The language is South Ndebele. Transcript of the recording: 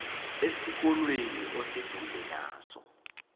esikolweni oseduze naso